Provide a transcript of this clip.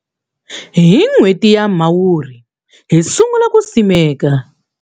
Hi n'hweti ya Mhawuri, hi sungula ku simeka